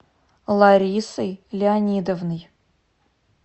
ларисой леонидовной